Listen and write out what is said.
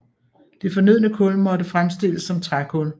Det fornødne kul måtte fremstilles som trækul